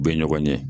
U bɛ ɲɔgɔn ɲɛ